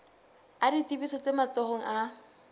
a ditsebiso tse matsohong a